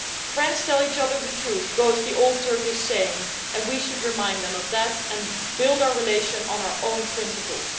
Friends tell each other the truth' goes the old Turkish saying, and we should remind them of that and build our relations on our own principles.